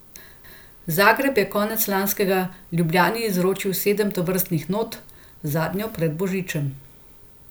Zagreb je konec lanskega Ljubljani izročil sedem tovrstnih not, zadnjo pred božičem.